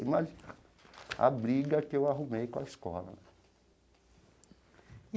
Imagina a briga que eu arrumei com a escola.